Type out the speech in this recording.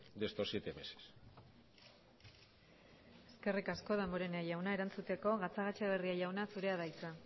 de estos siete meses eskerrik asko damborenea jauna erantzuteko gatzagaetxebarria jauna zurea da hitza